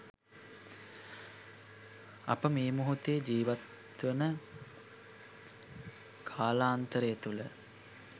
අප මේ මොහොතේ ජීවත්වන කාලාන්තරය තුළ